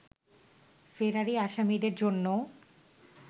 ফেরারি আসামিদের জন্যও